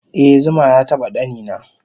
eh zuma yataba ɗanina